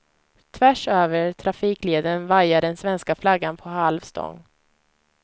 Tvärsöver trafikleden vajar den svenska flaggan på halv stång.